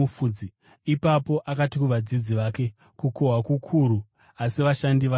Ipapo akati kuvadzidzi vake, “Kukohwa kukuru asi vashandi vashoma.